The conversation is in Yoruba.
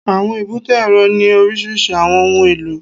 Àwọn èbúté èrò ní oríṣiríṣi àwọn ohun èlò